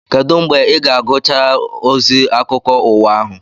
Kedụ mgbe ị ga-agụcharụ ozi akụkọ ụwa ahụ?